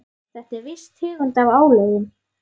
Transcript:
Þetta er viss tegund af álögum.